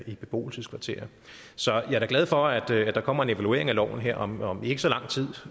i beboelseskvarterer så jeg er da glad for at der der kommer en evaluering af loven her om om ikke så lang tid